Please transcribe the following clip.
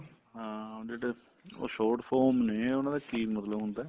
ਹਾਂ ਉਹ ਜਿਹੜੇ ਉਹ short form ਨੇ ਉਹਨਾ ਦਾ ਕੀ ਮਤਲਬ ਹੁੰਦਾ